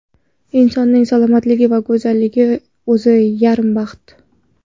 Insonning salomatligi va go‘zalligi o‘zi yarim baxt.